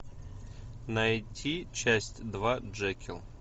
найти часть два джекилл